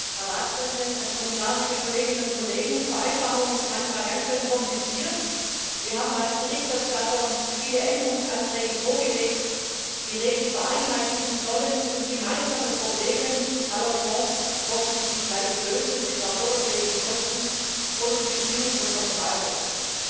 Herr Präsident, Herr Ratspräsident, Herr Kommissar, liebe Kolleginnen und Kollegen! Vereinfachung ist manchmal ganz schön kompliziert. Wir haben als Berichterstatter viele Änderungsanträge vorgelegt, die Regeln vereinheitlichen und gemeinsame Probleme aller Fonds hoffentlich gleich lösen sollen, etwa förderfähige Kosten oder die Bestimmung von Personalkosten.